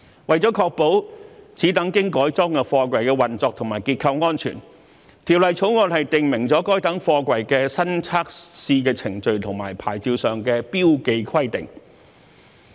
為了確保此等經改裝的貨櫃的運作和結構安全，《條例草案》訂明，該等貨櫃的新測試程序和牌照上的標記規定。